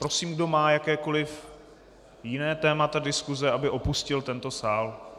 Prosím, kdo má jakékoliv jiné téma diskuse, aby opustil tento sál.